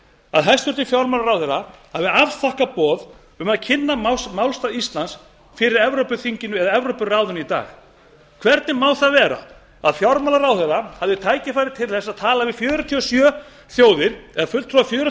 að hæstvirtur fjármálaráðherra hafi afþakkað boð um að kynna málstað íslands fyrir evrópuþinginu eða evrópuráðinu í dag hvernig má það vera að fjármálaráðherra hafi tækifæri til að tala við fjörutíu og sjö þjóðir eða fulltrúa fjörutíu